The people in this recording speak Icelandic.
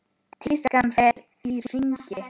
Tískan fer í hringi.